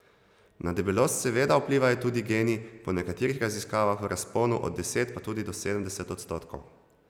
Na debelost seveda vplivajo tudi geni, po nekaterih raziskavah v razponu od deset pa tudi sedemdeset odstotkov.